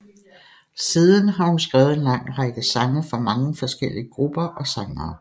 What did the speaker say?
Siden har hun skrevet en lang række sange for mange forskellige grupper og sangere